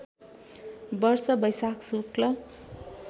वर्ष वैशाख शुक्ल